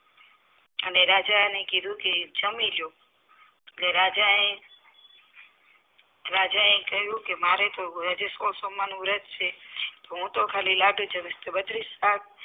અને રાજાને કીધું કે જમી લ્યો કે રાજાએ રાજા એ કહ્યું કે મારે તો વ્રત છે હું તો ખાલી તો બત્રીસ પાક